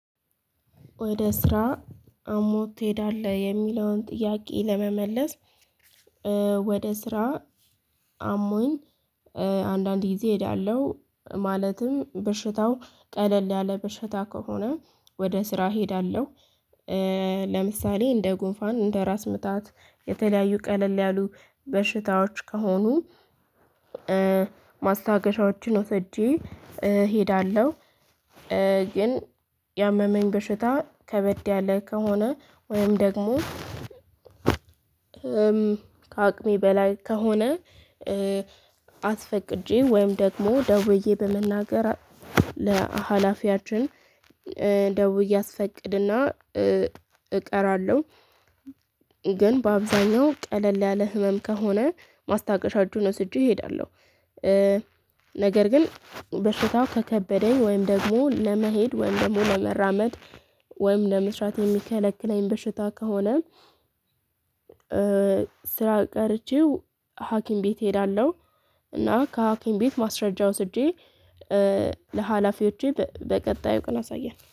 ወደ ስራ አሞህ ትሄዳለህ የሚለውን ጥያቄ ለመመለስ? ወደ ስራ አሞኝ አንዳንድ ጊዜ እሄዳለሁ ማለትም በሽታው ቀለል ያለ በሽታ ከሆነ ወደ ስራ እሄዳለሁ። ለምሳሌ እንደ ጉንፋን እንደ ራስ ምታት የተለያዩ ቀለል ያሉ በሽታዎች ከሆኑ። ማስታገሻዎችን ወሰጄ እሄዳለሁ። ግን ያመመኝ በሽታ ከበድ ያለ ከሆነ ወይም ደግሞ። ከአቅሜ በላይ ከሆነ። አስፈቅጂ ወይም ደግሞ ደውዬ በመናገር ለሀላፊያችን እንደው ብዬ አስስፈቅድና እቀራለሁ። ግን በአብዛኛው ቀለል ያለ ህመም ከሆነ ማስታገሻዎችን ወስጄ እሄዳለሁ። ነገር ግን በሽታው ከከበደኝ ወይም ደግሞ ለመሄድ ወይም ደግሞ ለመራመድ ወይም ለመስራት የሚከለክለኝ በሽታ ከሆነ። ስራ ቀርቼው ሀኪም ቤት እሄዳለሁ። እና ከሀኪም ቤት ማስረጃ ወስጄ ለሀላፊዎቼ በቀጣዩ ቅን አሳየን